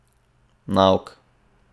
Nauk!